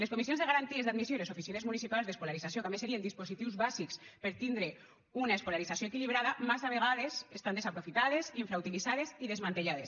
les comissions de garanties d’admissió i les oficines municipals d’escolarització que a més serien dispositius bàsics per tindre una escolarització equilibrada massa vegades estan desaprofitades infrautilitzades i desmantellades